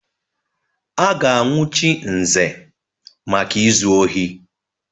A ga-anwụchi Nze maka izu ohi.